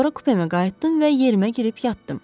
Sonra kupəmə qayıtdım və yerimə girib yatdım.